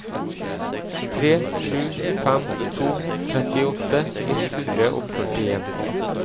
tre sju fem to trettiåtte ett hundre og førtien